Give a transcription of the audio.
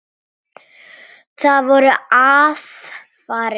Það voru aðfarir í lagi!